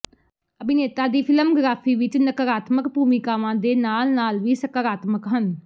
ਅਭਿਨੇਤਾ ਦੀ ਫ਼ਿਲਮਗ੍ਰਾਫੀ ਵਿਚ ਨਕਾਰਾਤਮਕ ਭੂਮਿਕਾਵਾਂ ਦੇ ਨਾਲ ਨਾਲ ਵੀ ਸਕਾਰਾਤਮਕ ਹਨ